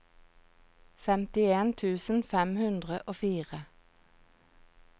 femtien tusen fem hundre og fire